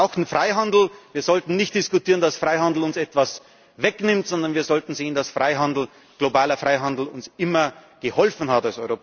vorangehen. Wir brauchen Freihandel, wir sollten nicht diskutieren, dass Freihandel uns etwas wegnimmt, sondern wir sollten sehen, dass Freihandel, globaler Freihandel, uns als Europäern immer geholfen